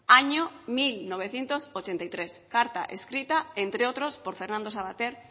año mil novecientos ochenta y tres carta escrita entre otros por fernando savater